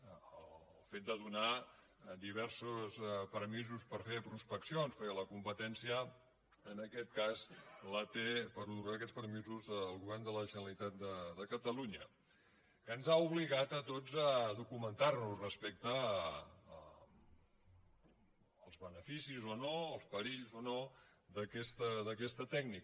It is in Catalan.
el fet de donar diversos permisos per fer prospeccions perquè la competència en aquest cas la té per donar aquests permisos el govern de la generalitat de catalunya que ens ha obligat a tots a documentar nos respecte als beneficis o no els perills o no d’aquesta tècnica